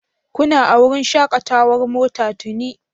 Kuna a wurin shakatawar mota tuni)?